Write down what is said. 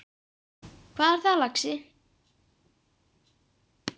Hvað er það, lagsi?